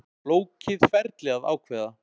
Flókið ferli að ákveða